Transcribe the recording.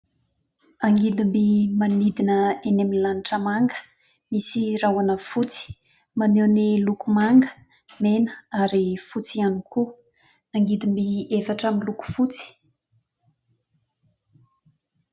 Angidim-by manidina eny amin'ny lanitra manga, misy rahona fotsy. Maneho ny loko manga, mena ary fotsy ihany koa. Angidim-by efatra miloko fotsy.